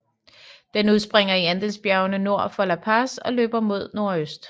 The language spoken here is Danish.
Den udspringer i Andesbjergene nord for La Paz og løber mod nordøst